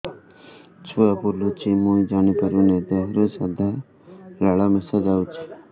ଛୁଆ ବୁଲୁଚି ମୁଇ ଜାଣିପାରୁନି ଦେହରୁ ସାଧା ଲାଳ ମିଶା ଯାଉଚି